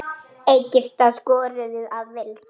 Egyptar skoruðu að vild.